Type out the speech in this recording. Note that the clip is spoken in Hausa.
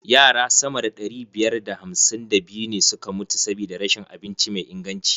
Yara sama da ɗari biyar da hamsin da biyu ne suka mutu sabida rashin abinci mai inganci.